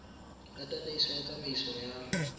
ya tataiso ya tsamaiso ya